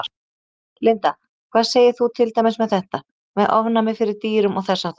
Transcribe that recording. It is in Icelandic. Linda: Hvað segir þú til dæmis með þetta, með ofnæmi fyrir dýrum og þess háttar?